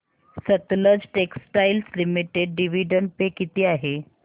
Sutlej textiles limited dividend pay किती आहे